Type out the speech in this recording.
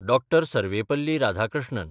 Dr. Sarvepalli Radhakrishnan